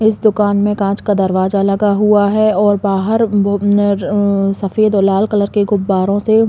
इस दुकान में कांच का दरवाजा लगा हुआ है और बाहर अ सफ़ेद और लाल कलर के गुब्बाराें से --